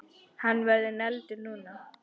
Hann verður negldur núna!